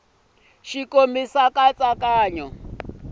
xa nkomiso nkatsakanyo wo saseka